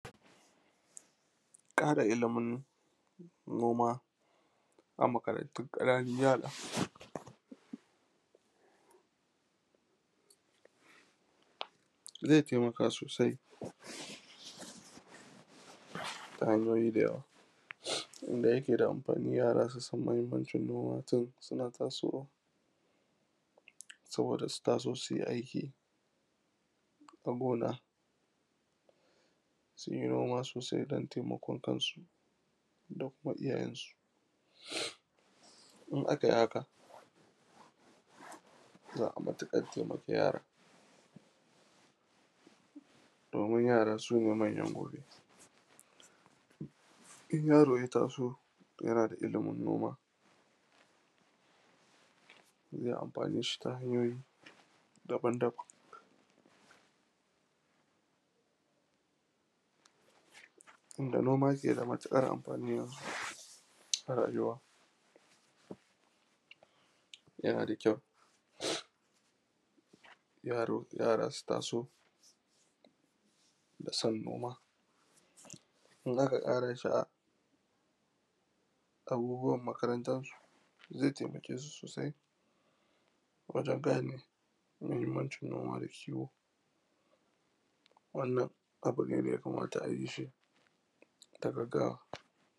ƙara ilimin noma a makarantun ƙananun yara ze taimaka sosai ta hanyoyi da yawa, da ma yake da amfani yara su san mahinmancin noma tun suna tasowa, sabboda su taso su yi aiki a gona, su yi noma sosai domin taimakon kansu. Duk matsiyanci in a kai, za a yi matuƙar taimakon, domin yara su ne manyan gobe. in yaro ya taso, yana da ilimin noma ze amfani shi ta hanyoyi daban-daban, tun da noma ke da matuƙar amfani yanzu a rayuwa yana da kyau yaro yara su taso da son noma. In za ka ƙara sha’awa, abubbuwan makarantansu ze taimake su sosai wajen gane mahinmancin noma da kiwo wannan abu ne da ya kamata a yi shi da gaggawa.